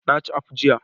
Na ci akpu jiya.